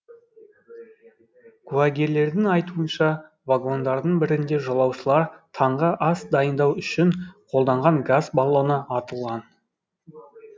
куәгерлердің айтуынша вагондардың бірінде жолаушылар таңғы ас дайындау үшін қолданған газ баллоны атылған